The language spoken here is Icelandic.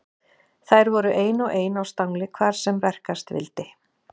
Þær voru ein og ein á stangli hvar sem verkast vildi.